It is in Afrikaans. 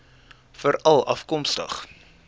veralafkomstig